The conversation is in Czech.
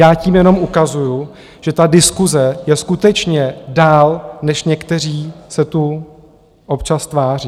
Já tím jenom ukazuji, že ta diskuse je skutečně dál, než někteří se tu občas tváří.